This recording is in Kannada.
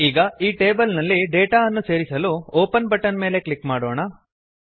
ಈಗ ಈ ಟೇಬಲ್ ನಲ್ಲಿ ಡೇಟಾ ಅನ್ನು ಸೇರಿಸಲು ಒಪೆನ್ ಬಟನ್ ಮೇಲೆ ಕ್ಲಿಕ್ ಮಾಡೋಣ